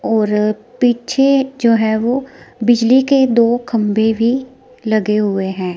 और पीछे जो है वो बिजली के दो खंभे भी लगे हुए हैं।